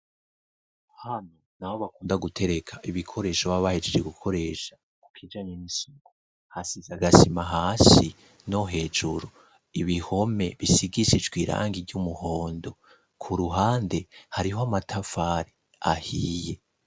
Hano naho bakunda gutereka ibikoresho babahejeje gukoresha, ku kijanye n'isuku hasize agasima hasi no hejuru ,ibihome bisigisijwe irangi ry'umuhondo ,ku ruhande hariho amatafari ahiye.